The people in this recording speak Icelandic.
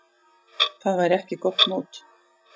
Það væri ekki gott mót.